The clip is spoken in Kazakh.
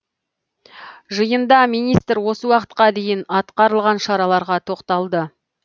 жиында министр осы уақытқа дейін атқарылған шараларға тоқталды